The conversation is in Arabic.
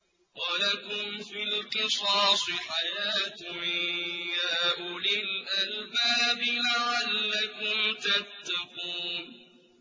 وَلَكُمْ فِي الْقِصَاصِ حَيَاةٌ يَا أُولِي الْأَلْبَابِ لَعَلَّكُمْ تَتَّقُونَ